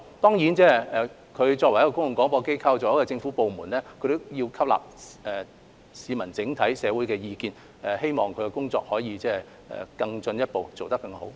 當然，港台作為公共廣播機構和政府部門，也要吸納整體社會的意見，希望其工作能夠更進一步，做得更好。